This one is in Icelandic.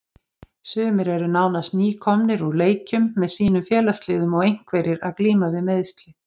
Sumir eru nánast nýkomnir úr leikjum með sínum félagsliðum og einhverjir að glíma við meiðsli.